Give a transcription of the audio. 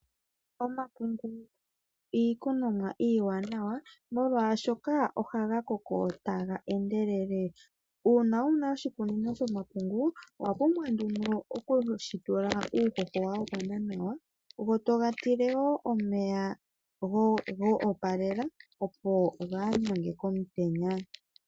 Omakunde iikunomwa iiwanawa molwashoka ohaga koko taga endelele, uuna wuna oshikunino shomakunde owapumbwa nduno okushitula uuhoho wagwana nawa gotoga tile wo omeya goopalela opo gaaganye komutenya.